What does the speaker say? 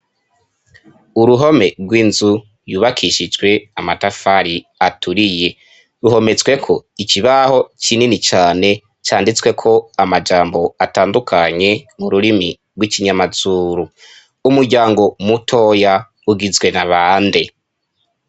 Uruhome rw'inzu, yubakishijwe amatafari aturiye, ruhometsweko ikibaho kinini cane, canditsweko amajambo atandukanye mu rurimi rw'ikinyamazuru, umuryango mutoya ugizwe na bande?